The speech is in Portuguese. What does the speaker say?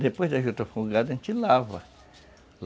Depois da juta fungada, a gente lava.